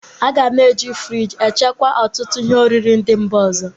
A ga na-e ji friji echekwa ọtụtụ ihe oriri ndị Mba ọzọ.